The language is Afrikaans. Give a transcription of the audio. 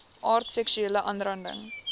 aard seksuele aanranding